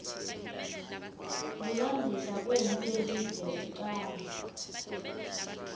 kulandzisa kwemphi yelive yekucala